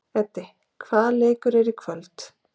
Eddi, hvaða leikir eru í kvöld?